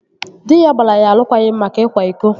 Dị ya gbara ya alụkwaghịm maka ịkwa iko